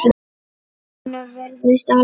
Honum virðist alvara.